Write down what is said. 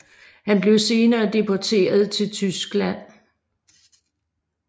Han blev senere deporteret til Tyskland